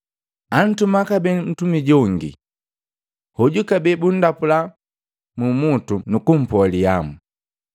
Antuma kabee ntumi jongi. Hoju kabee bundapula mumutu nukumpoa lihamu.